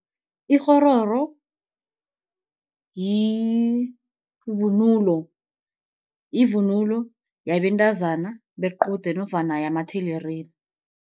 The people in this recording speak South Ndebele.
Ikghororo yivunulo, yivunulo yabentazana bequde nofana yamathelerina.